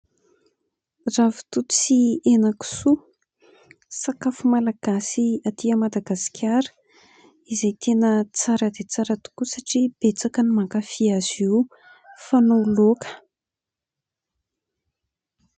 Ravitoto sy henakisoa, sakafo malagasy aty Madagasikara izay tena tsara dia tsara tokoa satria betsaka ny mankafy azy io. Fanao laoka.